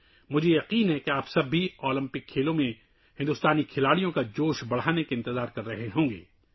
مجھے یقین ہے کہ آپ سب بھی اولمپک گیمز میں ہندوستانی کھلاڑیوں کی حوصلہ افزائی کے لیے انتظار کر رہے ہوں گے